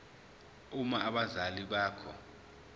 uma abazali bakho